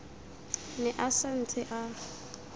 ne a sa ntse a